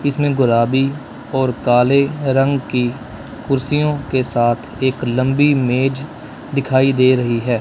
इसमें गुलाबी और काले रंग की कुर्सियों के साथ एक लंबी मेज दिखाई दे रही है।